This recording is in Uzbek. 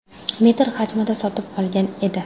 metr hajmida sotib olgan edi.